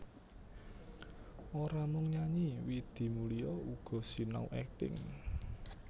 Ora mung nyanyi Widi Mulia uga sinau akting